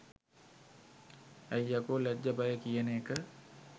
ඇයි යකෝ ලැජ්ජ බය කියන එක